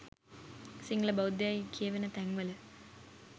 සිංහල බෞද්ධ යයි කියවෙන තැන් වල